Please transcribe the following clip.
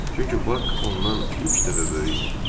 Çünki Bax ondan üç dəfə böyük idi.